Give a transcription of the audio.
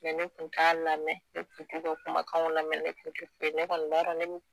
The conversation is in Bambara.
Mɛ ne kun t'a lamɛn ne kun t'u ka kumakanw lamɛn ne kun te foyi ne kɔni b'a dɔn ne be